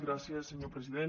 gràcies senyor president